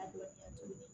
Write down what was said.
A bila